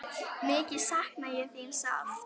Mikið sakna ég þín sárt.